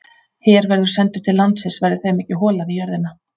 Her verður sendur til landsins verði þeim ekki holað í jörðina.